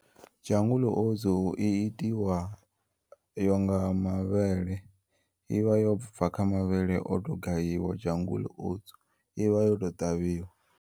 Jungle oats i itiwa yo nga mavhele ivha yobva kha mavhele oto gayiwa jungle oats ivha yoto ṱavhiwa.